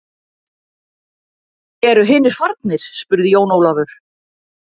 Eru hinir farnir spurði Jón Ólafur.